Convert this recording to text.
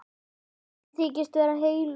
Konu sem þykist vera heilög.